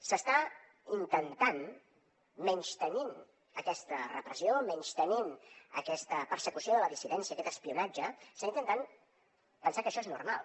s’està intentant menystenint aquesta repressió menystenint aquesta persecució de la dissidència aquest espionatge pensar que això és normal